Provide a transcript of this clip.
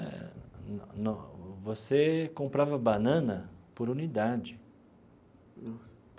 É, no no você comprava banana por unidade. Nossa.